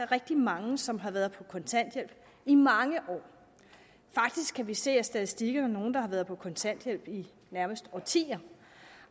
rigtig mange som har været på kontanthjælp i mange år faktisk kan vi se af statistikkerne nogle der har været på kontanthjælp i nærmest årtier